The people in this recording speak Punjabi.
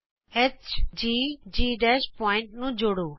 hgਜੀ ਬਿੰਦੂਆਂ ਨੂੰ ਜੋੜੋ